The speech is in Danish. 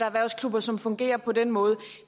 erhvervsklubber som fungerer på den måde